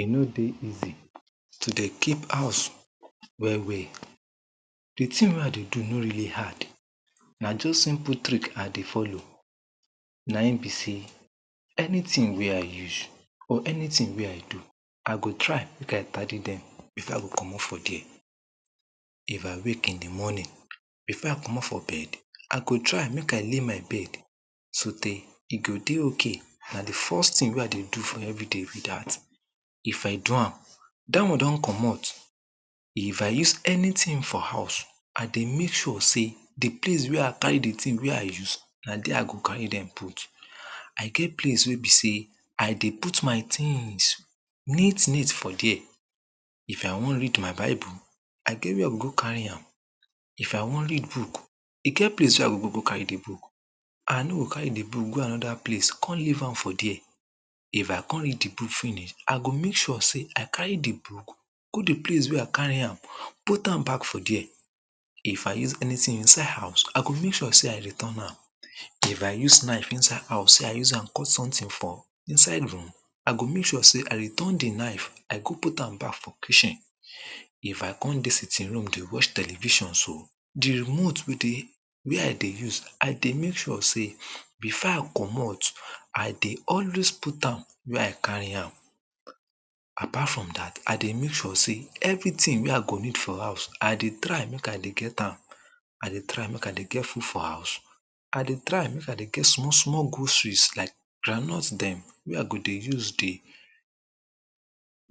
e no dey easy to dey keep house well well di tin wey i dey do no realy hard na just simple trick i dey follow na him bi sey anitin wey i use or anitin wey i do i go try get carry dem if i go commot for dere if i wake in di morning before i commot for bed i go try make i lay my bed so tare e go dey ok na di first tin wey i dey do for evriday bi dat if a do am dat one don commot if i use anytin for house i dey make sure sey di place wey i carry di tin wey i use na dere i go carry dem put i get place wey bi sey i dey put my tins neat neat for dere if i wan read my bible i get where i go go carri am if i wan read book e get place wey i go go carry di book i no go carry di book go anoda place come leave am for dere if i come read di book finish i go make sure sey i carry di book go di place wey i carry am put am back for dere if i use anitin inside house i go make sure sey i return am if i use knife inside house say i use am cut sometin for inside room i go make sure say i return di knife i go put am back for kitchen if i come dey sittinf room dey watch television so di remote wey dey wey i dey use i dey make sure say before i commot i dey always put am where i carry am apart from dat i dey make sure sey evri tin wey i go need for house i dey try make i dey get am i dey try make i dey get food for house i dey trty make i dey get small small groceries like groundnut dem wey i go dey use dey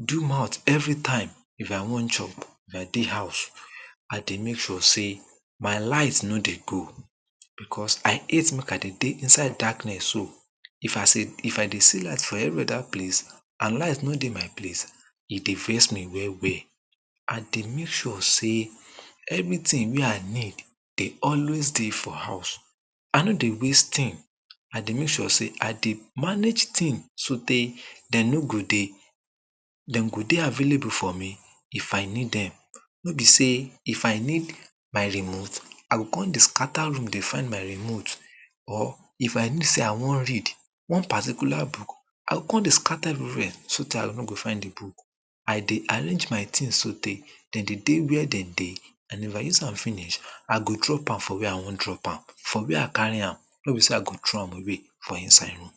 do mouth evritime if i wan chop if i dey house i dey make sure sey my light no dey go bikos i hate make i dey inside darkness so if i se if i dey see light for evri oda place and light no dey my place e dey vex me well well i dey make sure sey evritin wey i need de always dey for house i no dey waste tin i dey make sure sey i dep manage tin so tay dem no go dey dem go dey available for me i fi need dem no be sey if i need my remote i go come dey scatter room dey find my remote or if know sey i wan read one particular book i go come dey scatter evriwhere so tare i no go find di book i dey arrange my tins to tare dem dey de where dem dey and if i use am finish i go drop am for wey i wan drop am for wey i carry am no bi sey i go throw am away for inside room